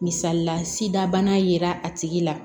Misalila sida bana yera a tigi la